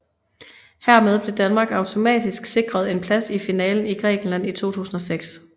Hermed blev Danmark automatisk sikret en plads i finalen i Grækenland i 2006